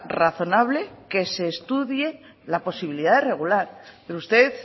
razonable que se estudie la posibilidad de regular pero usted